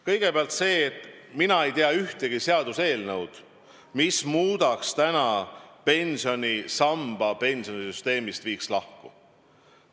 Kõigepealt, mina ei tea ühtegi seaduseelnõu, mis viiks teise pensionisamba pensionisüsteemist lahku.